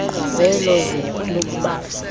zelo zwe lokubanjwa